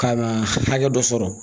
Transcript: Ka na hakɛ dɔ sɔrɔ